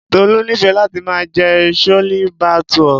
Tolu nífẹẹ láti máa jẹ chole bhature.